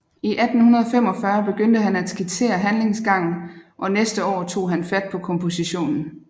I 1845 begyndte han at skitsere handlingsgangen og næste år tog han fat på kompositionen